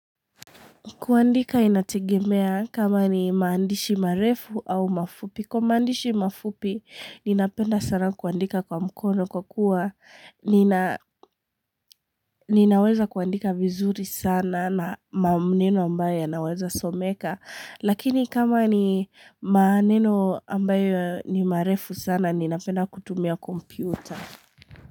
Kuandika inategemea kama ni maandishi marefu au mafupi. Kwa maandishi mafupi, ninapenda sana kuandika kwa mkono kwa kuwa. Ninaweza kuandika vizuri sana na maneno ambayo ya naweza someka. Lakini kama ni maneno ambayo ni marefu sana, ninapenda kutumia kompyuta.